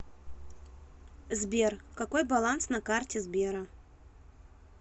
сбер какой баланс на карте сбера